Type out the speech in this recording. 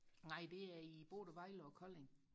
Nej det er i både Vejle og Kolding